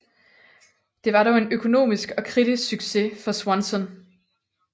Det var dog en økonomisk og kritisk succes for Swanson